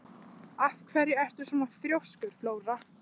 Af hverju ertu svona þrjóskur, Flóra?